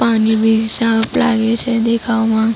પાણી બી સાફ લાગે છે દેખાવામાં.